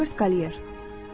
Robert Qalier.